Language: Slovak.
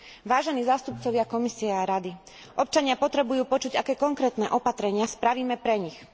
Vážení zástupcovia Komisie a Rady, občania potrebujú počuť, aké konkrétne opatrenia spravíme pre nich.